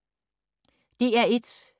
DR1